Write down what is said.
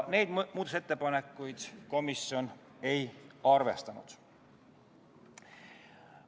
Neid muudatusettepanekuid komisjon ei arvestanud.